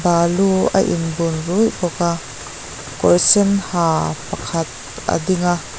balu a in bun ruih bawk a kawr sen ha pakhat a ding a.